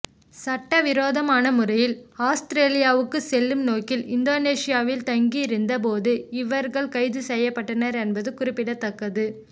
சட்டவிரோதமான முறையில் அவுஸ்திரேலியாவுக்கு செல்லும் நோக்கில் இந்தோனேசியாவில் தங்கியிருந்த போதே இவர்கள் கைதுசெய்யப்பட்டனர் என்பது குறிப்பிடத்தக்கது